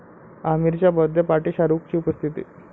आमिरच्या birthday पार्टीत शाहरूखची उपस्थिती